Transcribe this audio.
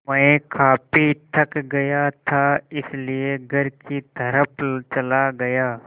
मैं काफ़ी थक गया था इसलिए घर की तरफ़ चला गया